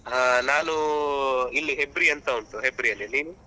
ಹಾ ನಾನು ಇಲ್ಲಿ Hebri ಅಂತ ಉಂಟು Hebri ಯಲ್ಲಿ. ನೀವು?